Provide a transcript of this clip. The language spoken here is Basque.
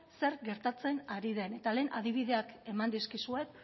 zer gertatzen ari den eta lehen adibideak eman dizkizuet